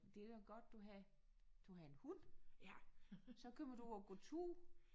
Det da godt du har du har en hund. Så kommer du ud og går tur